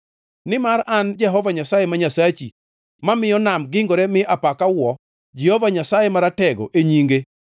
Nimar an Jehova Nyasaye ma Nyasachi mamiyo Nam gingore mi apaka wuo, Jehova Nyasaye Maratego e nyinge.